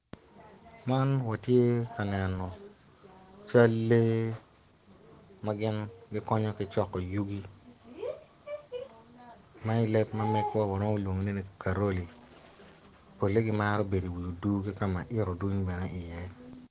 Man watye ka neno cal lee magin gikonyo ki coko yugi ma i leb mamegwa waromo lwongo ni karoli pole gi maro bedo i wi odur kama ito mere dwong i ye.